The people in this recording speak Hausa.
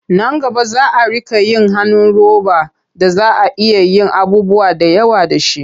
Nan gaba za a riƙa yin hannun roba da za a iya yin abubuwa da yawa da shi.